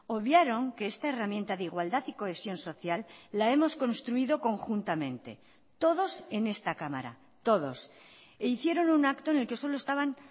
obviaron que esta herramienta de igualdad y cohesión social la hemos construido conjuntamente todos en esta cámara todos e hicieron un acto en el que solo estaban